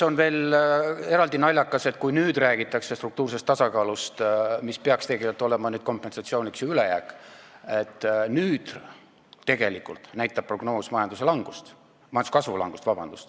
Eraldi naljakas on see, et kui nüüd räägitakse struktuursest tasakaalust, mis peaks tegelikult olema kompensatsiooniks ju ülejääk, siis tegelikult näitab prognoos majanduskasvu langust.